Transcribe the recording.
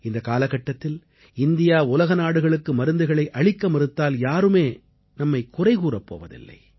இந்தக் காலகட்டத்தில் இந்தியா உலக நாடுகளுக்கு மருந்துகளை அளிக்க மறுத்தால் யாரும் நம்மைக் குறைகூறப் போவதில்லை